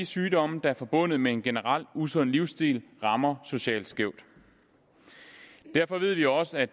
sygdomme der er forbundet med en generel usund livsstil rammer socialt skævt derfor ved vi også at